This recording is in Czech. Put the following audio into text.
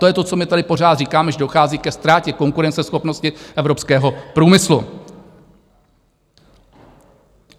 To je to, co my tady pořád říkáme, že dochází ke ztrátě konkurenceschopnosti evropského průmyslu.